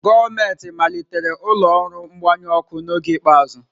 Gọọmentị malitere ụlọ ọrụ mgbanyụ ọkụ n'oge ikpeazụ.